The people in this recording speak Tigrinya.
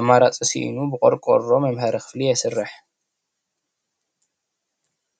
አማራፂ ሲኢኑ ብቆርቆሮ መምሀሪ ክፍሊ ይሰርሕ።